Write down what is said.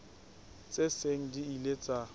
tse seng di ile tsa